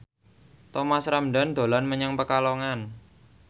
Thomas Ramdhan dolan menyang Pekalongan